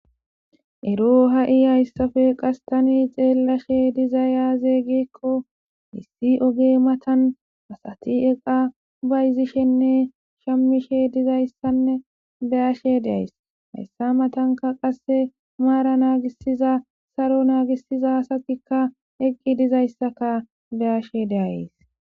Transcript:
Ero ha7i hayssafe qastani xeellashe dizayazeeygeekko issi oge matan asati eqa bayzishenne shammishe dizayssanne beyashe deays hayssa matanka qasse maara naagisiza saro naagisiza asatikka eqqi dizayssaka beyashe deays.